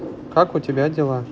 как у тебя дела